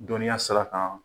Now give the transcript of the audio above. Dɔnniya sira kan